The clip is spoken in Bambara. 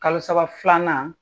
Kalo saba filanan